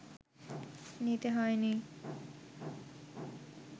নিতে হয়নি